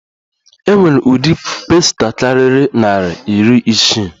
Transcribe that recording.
E nwere udi pasta kariri nari iri isii.